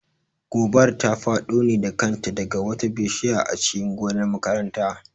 Gobar ta faɗo ne da kanta daga wata bishiya a cikin gonar makaranta